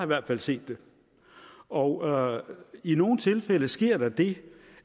hvert fald set det og i nogle tilfælde sker der det